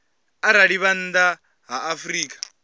arali vha nnḓa ha afrika